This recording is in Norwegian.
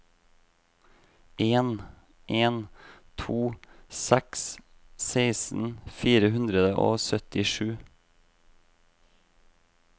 en en to seks seksten fire hundre og syttisju